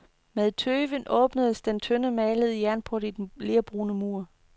Med tøven åbnes den tynde, malede jernport i den lerbrune mur.